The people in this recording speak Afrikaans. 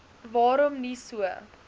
waarom nie so